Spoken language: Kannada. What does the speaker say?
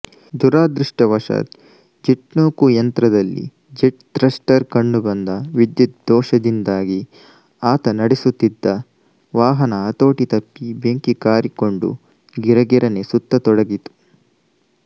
ದುರದೃಷ್ಟವಶಾತ್ ಜೆಟ್ನೂಕುಯಂತ್ರದಲ್ಲಿ ಜೆಟ್ ಥ್ರಸ್ಟರ್ ಕಂಡುಬಂದ ವಿದ್ಯುತ್ ದೋಷದಿಂದಾಗಿ ಆತ ನಡೆಸುತ್ತಿದ್ದ ವಾಹನ ಹತೋಟಿತಪ್ಪಿ ಬೆಂಕಿ ಕಾರಿಕೊಂಡು ಗಿರಗಿರನೆ ಸುತ್ತತೊಡಗಿತು